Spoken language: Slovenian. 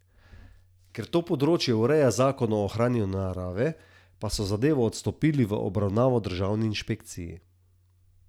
Ker to področje ureja zakon o ohranjanju narave, pa so zadevo odstopili v obravnavo državni inšpekciji.